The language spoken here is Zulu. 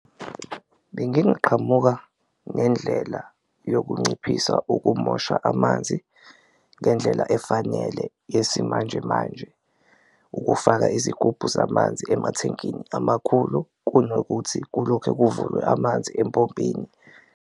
Bengingaqhamuka nendlela yokunciphisa ukumosha amanzi ngendlela efanele yesimanjemanje, ukufaka izigubhu zamanzi emathenkini amakhulu kunokuthi kulokhe kuvulwe amanzi empompini.